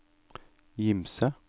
Gimse